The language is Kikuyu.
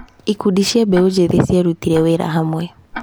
Ikundi cia mbeũ njĩthĩ ciarutire wĩra hamwe.